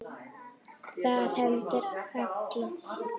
Það hendir alla